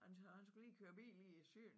og han han skulle lige køre bil i syn